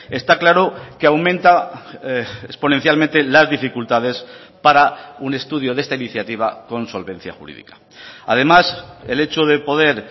está claro que aumenta exponencialmente las dificultades para un estudio de esta iniciativa con solvencia jurídica además el hecho de poder